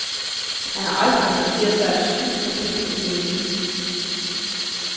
Han har aldrig interesseret sig en snus for kemi og biologi.